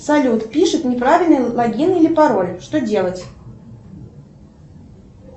салют пишет неправильный логин или пароль что делать